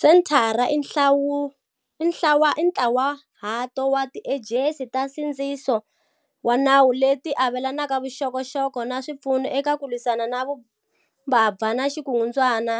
Senthara i ntlawahato wa tiejensi ta nsindziso wa nawu leti avelanaka vuxokoxoko na swipfuno eka ku lwisana na vumbabva na vukungundzwana